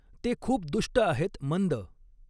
ते खूप दुष्ट आहॆत मंद.